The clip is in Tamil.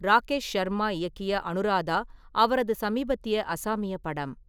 ராகேஷ் சர்மா இயக்கிய அனுராதா அவரது சமீபத்திய அசாமிய படம்.